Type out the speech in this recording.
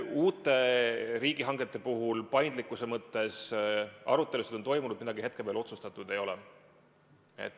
Uute riigihangete puhul paindlikkuse mõttes arutelusid on toimunud, midagi hetkel veel otsustatud ei ole.